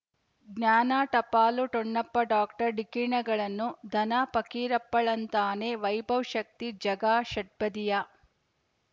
ಜ್ಞಾನ ಟಪಾಲು ಠೊಣಪ ಡಾಕ್ಟರ್ ಢಿಕ್ಕಿ ಣಗಳನು ಧನ ಫಕೀರಪ್ಪ ಳಂತಾನೆ ವೈಭವ್ ಶಕ್ತಿ ಝಗಾ ಷಟ್ಪದಿಯ